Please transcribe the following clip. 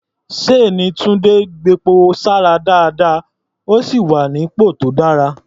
Ṣséèní Túńdé gbepo sára dáadáa, ó sì wà nípò tó dára.